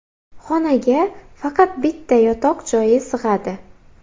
Xonaga faqat bitta yotoq joyi sig‘adi.